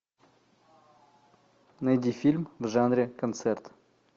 найди фильм в жанре концерт